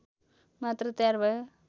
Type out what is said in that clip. मात्र तयार भयो